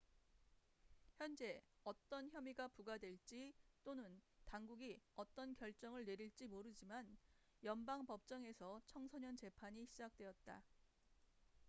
현재 어떤 혐의가 부과될지 또는 당국이 어떤 결정을 내릴지 모르지만 연방 법정에서 청소년 재판이 시작되었다